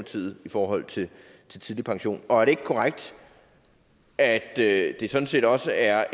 side i forhold til tidlig pension og er det ikke korrekt at det det sådan set også er